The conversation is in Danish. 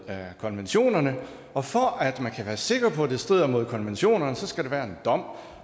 konventionerne og for at være sikker på at det strider mod konventionerne skal der være en dom